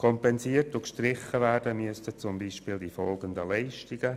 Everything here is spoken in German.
Kompensiert und gestrichen werden müssten zum Beispiel die folgenden Leistungen: